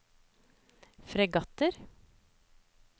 fregatter